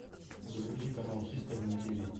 загрузи канал хистори на тиви